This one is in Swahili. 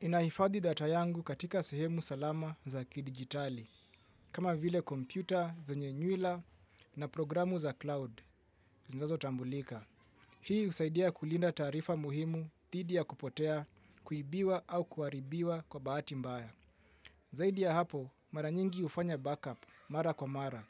Ninahifadhi data yangu katika sehemu salama za kidijitali, kama vile kompyuta zenye nywila na programu za cloud, zinazotambulika. Hii husaidia kulinda taarifa muhimu dhidi ya kupotea kuibiwa au kuharibiwa kwa bahati mbaya. Zaidi ya hapo, mara nyingi hufanya backup mara kwa mara,